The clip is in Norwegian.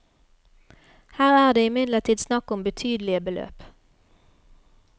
Her er det imidlertid snakk om betydelige beløp.